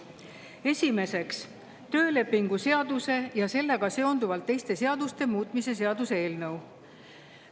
Esiteks, töölepingu seaduse ja sellega seonduvalt teiste seaduste muutmise seaduse eelnõu.